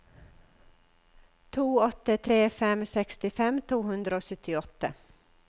to åtte tre fem sekstifem to hundre og syttiåtte